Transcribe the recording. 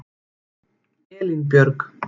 Elínbjörg